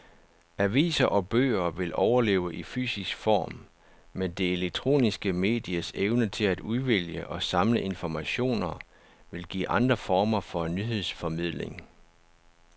Aviser og bøger vil overleve i fysisk form, men det elektroniske medies evne til at udvælge og samle informationer vil give andre former for nyhedsformidling.